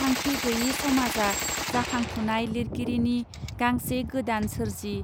थांखि गैये समाजआ जाखांफुनाय लिरगिरिनि गांसे गोदान सोरजि